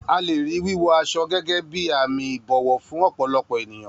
A lè rí wíwọ aṣọ gẹ́gẹ́ bí àmì ìbọ̀wọ̀ fún ọ̀pọ̀lọpọ̀ ènìyàn.